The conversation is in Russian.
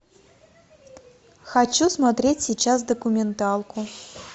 хочу смотреть сейчас документалку